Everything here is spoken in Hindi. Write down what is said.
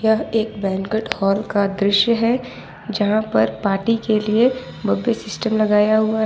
यह एक बैंकेट हॉल का दृश्य है जहां पर पार्टी के लिए बुफे सिस्टम लगाया हुआ है।